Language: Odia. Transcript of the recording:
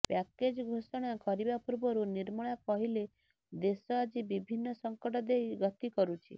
ପ୍ୟାକେଜ୍ ଘୋଷଣା କରିବା ପୂର୍ବରୁ ନିର୍ମଳା କହିଲେ ଦେଶ ଆଜି ବିଭିନ୍ନ ସଂକଟ ଦେଇ ଗତି କରୁଛି